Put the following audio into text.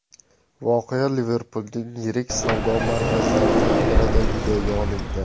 Voqea Liverpulning yirik savdo markazlaridan birida videoga olingan.